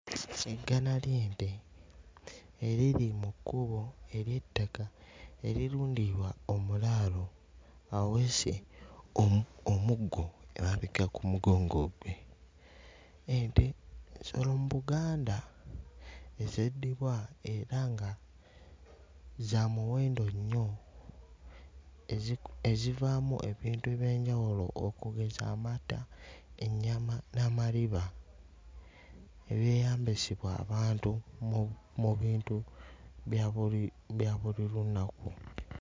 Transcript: Eggana ly'ente eriri mu kkubo ery'ettaka erirundirwa omulaalo aweese omu... omuggo emabega ku mugongo gwe. Ente nsolo mu Buganda ezeddibwa era nga za muwendo nnyo eziku... ezivaamu ebintu eby'enjawulo okugeza amata, ennyama n'amaliba ebyeyambisibwa abantu mu mu bintu bya buli bya buli lunaku.